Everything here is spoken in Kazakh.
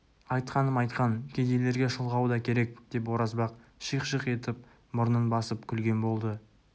айтқаным-айтқан кедейлерге шылғау да керек деп оразбақ шиқ-шиқ етіп мұрнын басып күлген болды